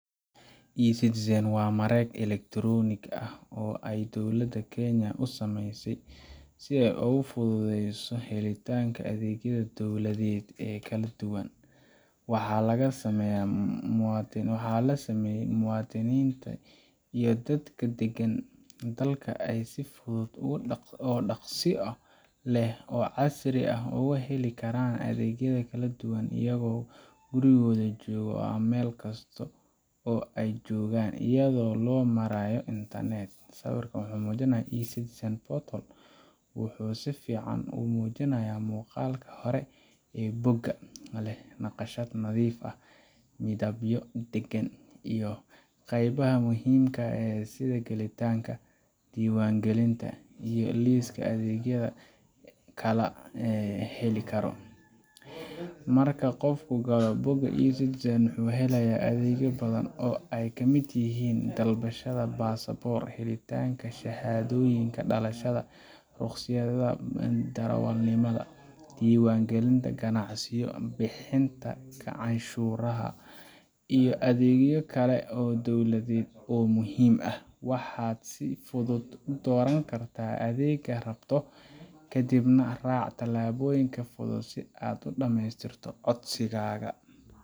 eCitizen waa mareeg elektaroonig ah oo ay dawladda Kenya u samaysay si ay ugu fududeyso helitaanka adeegyada dowladeed ee kala duwan. Waxaa la sameeyay si muwaadiniinta iyo dadka degan dalka ay si fudud, dhaqsiyo leh, oo casri ah uga heli karaan adeegyada dowladda iyagoo gurigooda jooga ama meel kasta oo ay joogaan, iyadoo loo marayo internet ka. Sawirka muujinaya eCitizen portal wuxuu si fiican u muujinayaa muuqaalka hore ee bogga oo leh naqshad nadiif ah, midabyo deggan, iyo qaybaha muhiimka ah sida galitaanka , diiwaangelinta , iyo liiska adeegyada laga heli karo. Marka qofku galo bogga eCitizen, wuxuu helayaa adeegyo badan oo ay ka mid yihiin dalbashada baasaboor, helitaanka shahaadooyinka dhalashada, rukhsadaha darawalnimada, diiwaangelinta ganacsiyo, bixinta canshuuraha, iyo adeegyo kale oo dowladeed oo muhiim ah. Waxaad si fudud u dooran kartaa adeegga aad rabto, kadibna raac tallaabooyin fudud si aad u dhammaystirto codsigaaga.